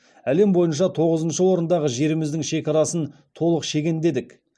әлем бойынша тоғызыншы орындағы жеріміздің шекарасын толық шегендедік